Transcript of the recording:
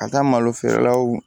Ka taa malo feerelaw